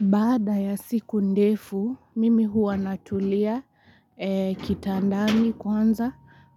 Baada ya siku ndefu, mimi huwa natulia kitandani kwanza,